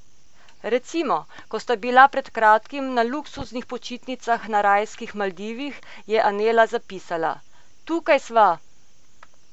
Recimo, ko sta bila pred kratkim na luksuznih počitnicah na rajskih Maldivih, je Anela zapisala: "Tukaj sva!